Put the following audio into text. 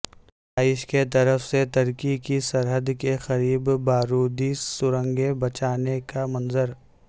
داعش کیطرف سے ترکی کی سرحد کے قریب بارودی سرنگیں بچھانے کا منظر